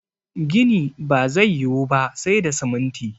gini ba zai yi Wu ba sai da siminti